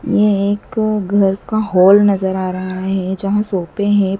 यह एक घर का हॉल नजर आ रहा है जहां सोफे है।